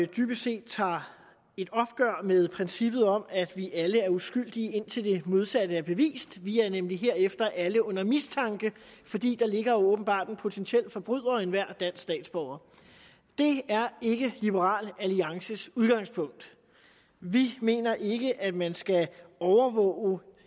dybest set tager et opgør med princippet om at vi alle er uskyldige indtil det modsatte er bevist vi er nemlig herefter alle under mistanke fordi der åbenbart ligger en potentiel forbryder i enhver dansk statsborger det er ikke liberal alliances udgangspunkt vi mener ikke at man skal overvåge